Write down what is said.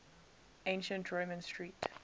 ancient roman street